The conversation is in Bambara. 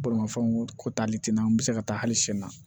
Bolimafɛnw ko taali tɛ n'an bɛ se ka taa hali sini na